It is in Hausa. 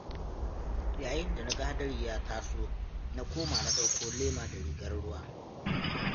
Yayin da na ga hadari ya taso, na koma na ɗauko lema da rigar ruwa.